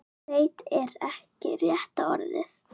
Leita er ekki rétta orðið.